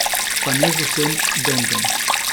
Pa ne z vsem bendom?